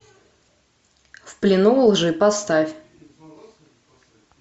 в плену у лжи поставь